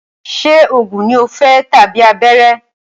Ṣé oògùn ní o fẹ́ tàbí abẹ́rẹ́?